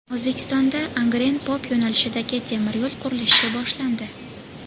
O‘zbekistonda Angren-Pop yo‘nalishidagi temir yo‘l qurilishi boshlandi.